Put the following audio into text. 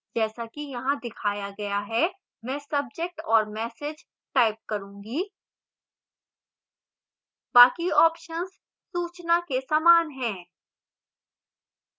जैसा कि यहाँ दिखाया गया है मैं subject और message type करूँगी बाकी options सूचना के समान हैं